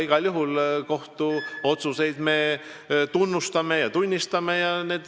Igal juhul me tunnustame ja tunnistame kohtuotsuseid.